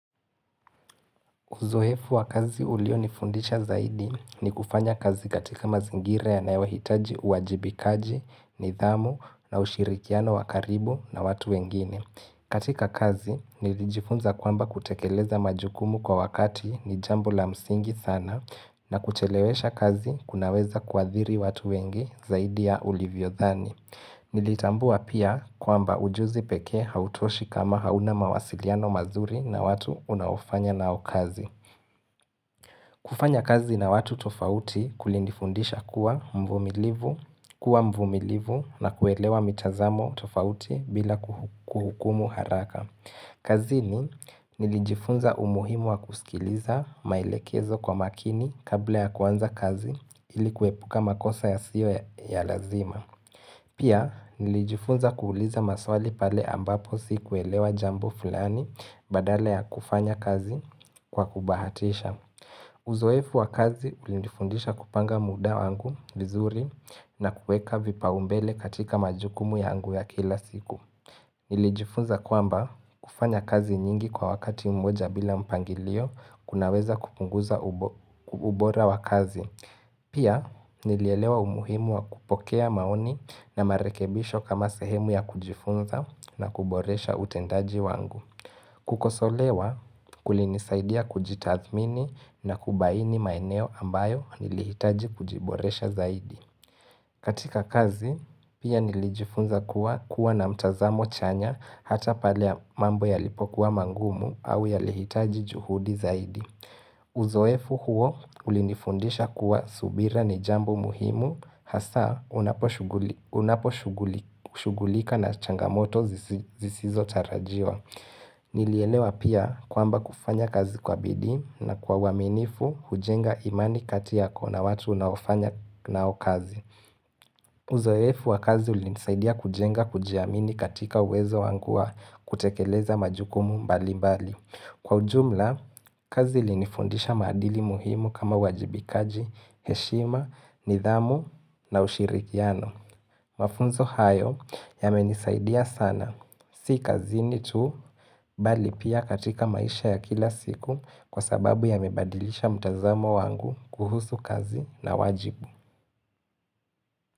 Uzoefu wa kazi ulionifundisha zaidi ni kufanya kazi katika mazingira yanayohitaji uajibikaji, nidhamu na ushirikiano wa karibu na watu wengine. Katika kazi, nilijifunza kwamba kutekeleza majukumu kwa wakati ni jambo la msingi sana na kuchelewesha kazi kunaweza kuadhiri watu wengi zaidi ya ulivyodhani. Nilitambua pia kwamba ujuzi peke hautoshi kama hauna mawasiliano mazuri na watu unaofanya nao kazi kufanya kazi na watu tofauti kulinifundisha kuwa mvumilivu, kuwa mvumilivu na kuelewa mitazamo tofauti bila kuhukumu haraka kazini nilijifunza umuhimu wa kusikiliza maelekezo kwa makini kabla ya kuanza kazi ili kuepuka makosa yasiyo ya lazima Pia nilijifunza kuuliza maswali pale ambapo sikuelewa jambo fulani badala ya kufanya kazi kwa kubahatisha Uzoefu wa kazi ulinifundisha kupanga muda wangu vizuri na kueka vipaumbele katika majukumu yangu ya kila siku Nilijifunza kwamba kufanya kazi nyingi kwa wakati mmoja bila mpangilio kunaweza kupunguza ubora wa kazi Pia nilielewa umuhimu wa kupokea maoni na marekebisho kama sehemu ya kujifunza na kuboresha utendaji wangu. Kukosolewa kulinisaidia kujitathmini na kubaini maeneo ambayo nilihitaji kujiboresha zaidi. Katika kazi, pia nilijifunza kuwa na mtazamo chanya hata pale mambo yaliipokuwa magumu au yalihitaji juhudi zaidi. Uzoefu huo ulinifundisha kuwa subira ni jambo muhimu Hasa unaposhughulika na changamoto zisizotarajiwa Nilielewa pia kwamba kufanya kazi kwa bidii na kwa uaminifu hujenga imani kati yako na watu unaofanya nao kazi Uzoefu wa kazi ulinisaidia kujenga kujiamini katika uwezo wangu wa kutekeleza majukumu mbali mbali Kwa ujumla, kazi ilinifundisha madili muhimu kama uwajibikaji, heshima, nidhamu na ushirikiano. Mafunzo hayo yamenisaidia sana, si kazini tu, bali pia katika maisha ya kila siku kwa sababu yamebadilisha mtazamo wangu kuhusu kazi na wajibu.